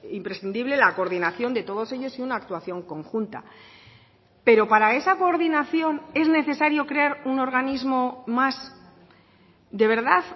imprescindible la coordinación de todos ellos y una actuación conjunta pero para esa coordinación es necesario crear un organismo más de verdad